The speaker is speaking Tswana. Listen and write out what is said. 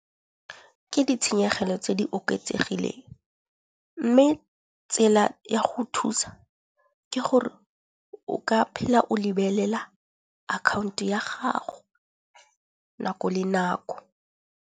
Ke ditshenyegelo tse di oketsegileng mme tsela ya go thusa ke gore o ka phela o lebelela account-o ya gago nako le nako.